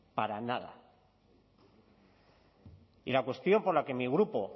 para nada y la cuestión por la que mi grupo